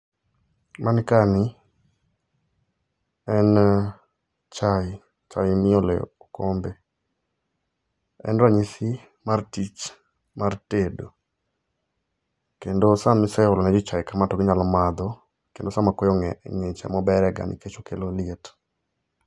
Mani ka ni en chai, chai miole okombe, en ranyisi mar tich mar tedo kendo sama iseolo ne jii chai kamae to ginyalo madho kendo sama koyo ngich ema obere ga nikech okelo liet